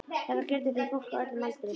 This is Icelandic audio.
Þetta gildir fyrir fólk á öllum aldri.